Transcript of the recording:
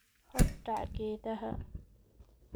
Hordhac Geedaha